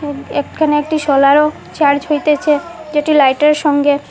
এক্ষানে একটি যেটি লাইট -এর সঙ্গে--